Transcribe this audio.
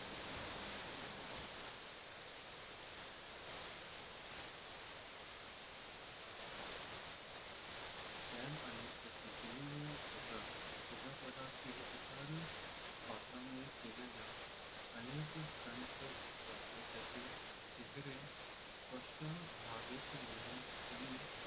चान आणि त्याची टीम त्याच्या चित्रपटातील इतर पात्रांनी केलेल्या अनेक स्टंट क्षेत्रातले चेहरे स्पष्ट व्हावेत म्हणून त्यांनी